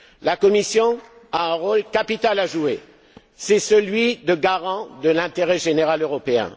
La Commission a un rôle capital à jouer celui de garant de l'intérêt général européen.